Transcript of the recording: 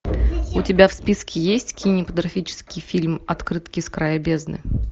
у тебя в списке есть кинематографический фильм открытки с края бездны